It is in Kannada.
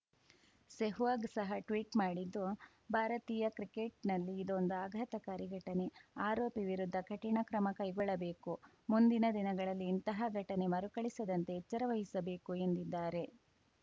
ಸೆಹ್ವಾಗ್‌ ಸಹ ಟ್ವೀಟ್‌ ಮಾಡಿದ್ದು ಭಾರತೀಯ ಕ್ರಿಕೆಟ್‌ನಲ್ಲಿ ಇದೊಂದು ಆಘಾತಕಾರಿ ಘಟನೆ ಆರೋಪಿ ವಿರುದ್ಧ ಕಠಿಣ ಕ್ರಮ ಕೈಗೊಳ್ಳಬೇಕು ಮುಂದಿನ ದಿನಗಳಲ್ಲಿ ಇಂತಹ ಘಟನೆ ಮರುಕಳಿಸದಂತೆ ಎಚ್ಚರ ವಹಿಸಬೇಕು ಎಂದಿದ್ದಾರೆ